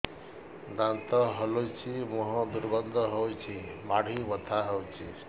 ଦାନ୍ତ ହଲୁଛି ମୁହଁ ଦୁର୍ଗନ୍ଧ ହଉଚି ମାଢି ବଥା ହଉଚି